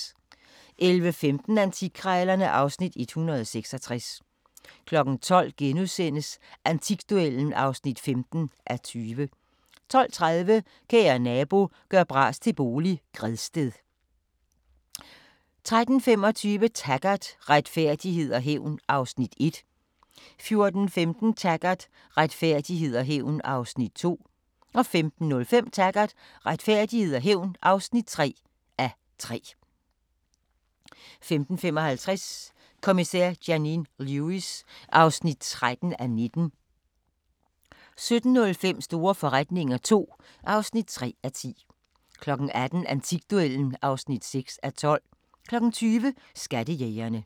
11:15: Antikkrejlerne (Afs. 166) 12:00: Antikduellen (15:20)* 12:30: Kære nabo – gør bras til bolig – Gredsted 13:25: Taggart: Retfærdighed og hævn (1:3) 14:15: Taggart: Retfærdighed og hævn (2:3) 15:05: Taggart: Retfærdighed og hævn (3:3) 15:55: Kommissær Janine Lewis (13:19) 17:05: Store forretninger II (3:10) 18:00: Antikduellen (6:12) 20:00: Skattejægerne